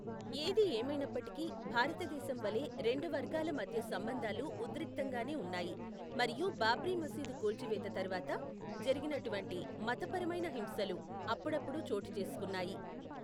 ఏది ఏమైనప్పటికీ, భారతదేశం వలె, రెండు వర్గాల మధ్య సంబంధాలు ఉద్రిక్తంగానే ఉన్నాయి మరియు బాబ్రీ మసీదు కూల్చివేత తర్వాత జరిగినటువంటి మతపరమైన హింసలు అప్పుడప్పుడు చోటుచేసుకున్నాయి.